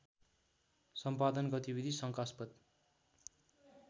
सम्पादन गतिविधि शङ्कास्पद